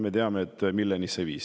Me teame, milleni see viis.